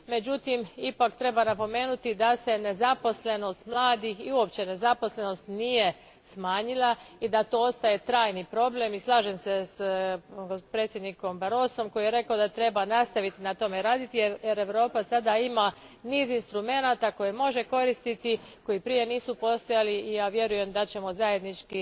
Međutim, ipak treba napomenuti da se nezaposlenost mladih i uopće nezaposlenost nije smanjila i da to ostaje trajni problem i slažem se s predsjednikom Barrosom koji je rekao da treba nastaviti na tome raditi jer Europa sada ima niz instrumenata koje može koristiti, koji prije nisu postojali i ja vjerujem da ćemo zajednički